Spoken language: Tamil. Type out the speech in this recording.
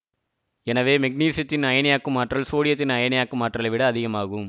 எனவே மெக்னீசியத்தின் அயனியாக்கும் ஆற்றல் சோடியத்தின் அயனியாக்கும் ஆற்றலை விட அதிகமாகும்